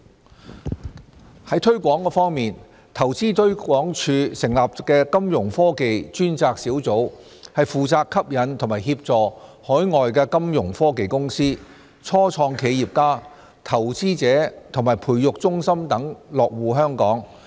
a 推廣在推廣方面，投資推廣署成立的金融科技專責小組負責吸引及協助海外金融科技公司、初創企業家、投資者和培育中心等落戶香港。